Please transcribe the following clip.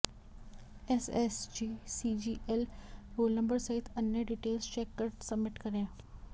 SSC CGL roll number सहित अन्य details check कर सबमिट करें